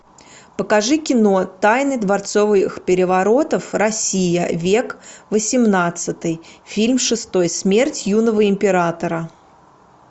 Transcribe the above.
покажи кино тайны дворцовых переворотов россия век восемнадцатый фильм шестой смерть юного императора